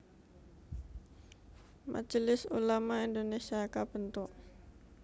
Majelis Ulama Indonésia kabentuk